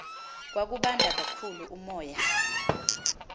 kwakubanda kakhulu umoya